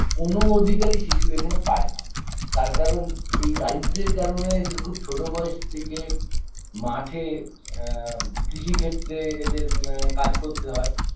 কোনো অধিকারই শিশু এখানে পায়না তার কারণ এই দারিদ্র্যের কারণে এদের খুব ছোটো বয়স থেকে মাঠে আ কৃষি ক্ষেত্রে এদের ম কাজ করতে হয়